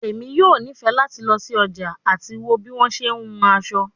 Emi yoo nifẹ lati lọ si ọja ati wo bi wọn ṣe hun aso